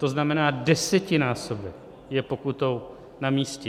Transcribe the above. To znamená, desetinásobek je pokutou na místě.